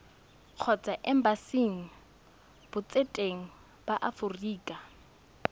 kgotsa embasing botseteng ba aforika